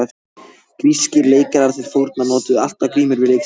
Grískir leikarar til forna notuðu alltaf grímur við leiksýningar.